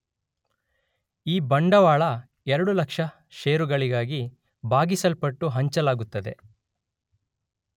ಈ ಬಂಡವಾಳ 2 ಲಕ್ಷ ಷೇರುಗಳಾಗಿ ಭಾಗಿಸಲ್ಪಟ್ಟು ಹಂಚಲಾಗುತ್ತದೆ